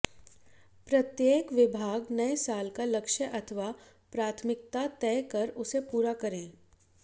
प्रत्येक विभाग नए साल का लक्ष्य अथवा प्राथमिकता तय कर उसे पूरा करे